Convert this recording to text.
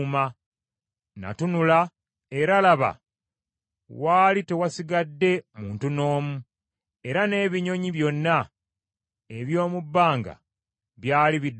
Natunula, era laba, waali tewasigadde muntu n’omu, era n’ebinyonyi byonna eby’omu bbanga byali bidduse.